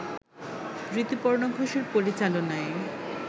ঋতুপর্ণ ঘোষের পরিচালনায়